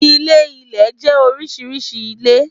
Ilé-ilẹ̀ jẹ́ oríṣi ilé.